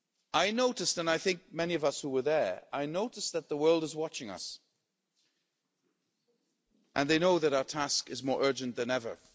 I noticed, and I think many of us who were there noticed, that the world is watching us, and they know that our task is more urgent than ever.